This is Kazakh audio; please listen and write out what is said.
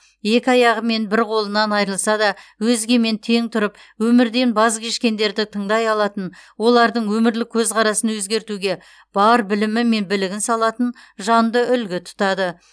екі аяғы мен бір қолынан айырылса да өзгемен тең тұрып өмірден баз кешкендерді тыңдай алатын олардың өмірлік көзқарасын өзгертуге бар білімі мен білігін салатын жанды үлгі тұтады